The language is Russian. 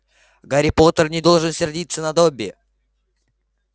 гарри поттер не должен сердиться на добби